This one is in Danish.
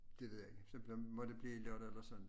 Det ved jeg ikke så må det blive lørdag eller søndag